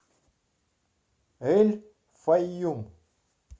эль файюм